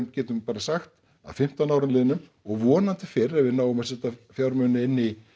getum bara sagt að fimmtán árum liðnum og vonandi fyrr ef við náum að setja fjármuni inn í